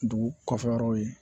Dugu kɔfɛ yɔrɔw ye